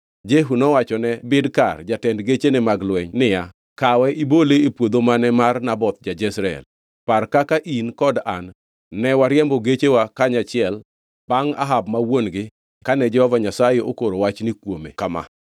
Jehu nowachone Bidkar jatend gechene mag lweny niya, “Kawe ibole e puodho mane mar Naboth ja-Jezreel. Par kaka in kod an ne wariembo gechewa kanyachiel bangʼ Ahab ma wuon-gi kane Jehova Nyasaye okoro wachni kuome kama: